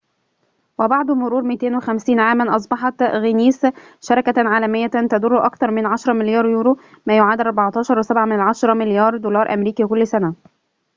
وبعد مرور 250 عاماً، أصبحت غينيس شركةً عالميةً تدرّ أكثر من 10 مليار يورو ما يعادل 14.7 مليار دولار أمريكي كل سنة